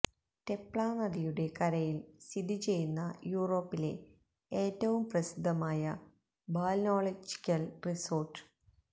Tepla നദിയുടെ കരയിൽ സ്ഥിതി ചെയ്യുന്ന യൂറോപ്പിലെ ഏറ്റവും പ്രസിദ്ധമായ ബാല്നോളജിക്കൽ റിസോർട്ട്